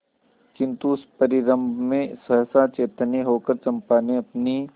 किंतु उस परिरंभ में सहसा चैतन्य होकर चंपा ने अपनी